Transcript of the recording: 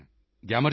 ਗਿਆਮਰ ਜੀ ਨਮਸਤੇ